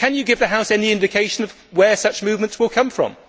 Can you give the House any indication of where such movements will come from?